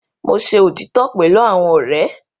Mo ṣe otitọ pẹlu awọn ọrẹ